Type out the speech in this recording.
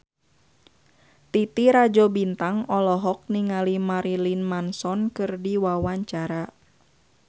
Titi Rajo Bintang olohok ningali Marilyn Manson keur diwawancara